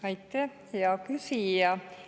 Aitäh, hea küsija!